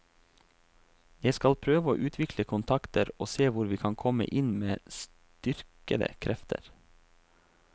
Jeg skal prøve å utvikle kontakter og se hvor vi kan komme inn med styrkede krefter.